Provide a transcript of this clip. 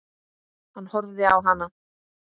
Hann horfði á hana.